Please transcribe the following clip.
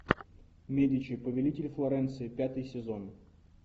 медичи повелители флоренции пятый сезон